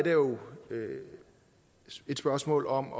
er jo et spørgsmål om